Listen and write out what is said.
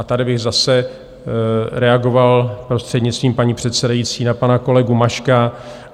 A tady bych zase reagoval, prostřednictvím paní předsedající, na pana kolegu Maška.